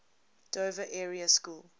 dover area school